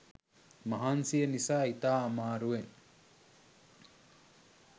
මහන්සිය නිසා ඉතා අමාරුවෙන්